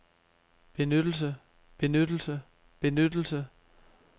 benyttelse benyttelse benyttelse